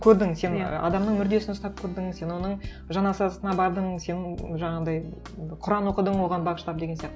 көрдің сен адамның мүрдесін ұстап көрдің сен оның жаназасына бардың сен жаңағындай енді құран оқыдың оған бағыштап деген сияқты